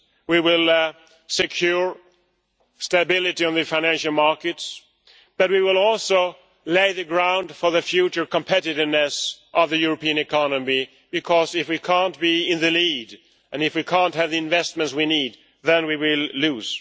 We will secure stability on the financial markets, but we will also lay the ground for the future competitiveness of the European economy, because if we cannot be in the lead, and if we cannot have the investments we need, then we will lose.